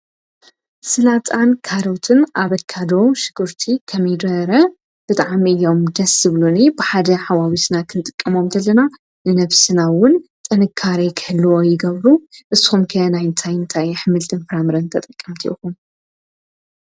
ሰላጣን ካሮትን ኣቫካዶን ሽጉርቲን ኮሚድረ ብጥዓሚ ኢዩም ደስ ይብሉኒ ብሓደ ሓዋዊስና ኽንጥቀሞሎም እንተለና ንነፍስና'ውን ጠንካሬ ክህልወ ይገብሩ ንስኩም'ከ ናይ እንታይንታይ ሓምልቲን ፍራምረን ተጠቀምቲ ኢኹም?